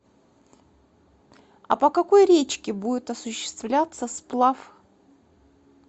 а по какой речке будет осуществляться сплав